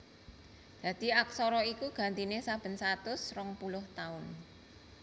Dadi aksara iku gantiné saben satus rong puluh taun